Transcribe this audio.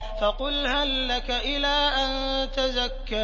فَقُلْ هَل لَّكَ إِلَىٰ أَن تَزَكَّىٰ